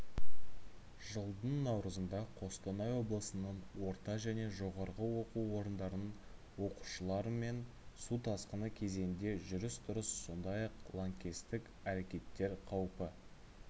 жылдың наурызында қостанай облысыныңорта және жоғарғы оқу орындарының оқушыларыменсу тасқыны кезеңінде жүріс-тұрысы сондай-ақ лаңкестік әрекеттер қауіпі